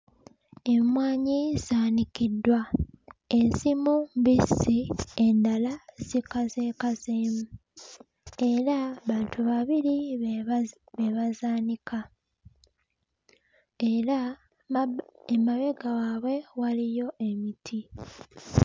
Emmwanyi zaanikiddwa ezimu mbisi endala zikazeekazeemu era bantu babiri be bazi be bazaanika era mabbu emabega waabwe waliyo emiti.